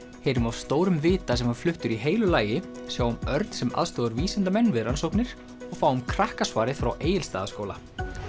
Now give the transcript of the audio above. heyrum af stórum vita sem var fluttur í heilu lagi sjáum Örn sem aðstoðar vísindamenn við rannsóknir og fáum frá Egilsstaðaskóla